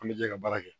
An bɛ jɛ ka baara kɛ